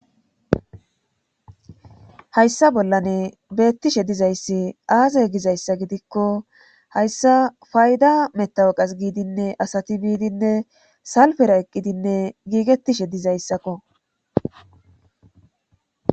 hayssa bollane beettishe dizayssi aaze gizayssa gidikko hayssa fayda metawoqas giidinne asati biidinne salfera eqqidinne giigettishe dizayssakko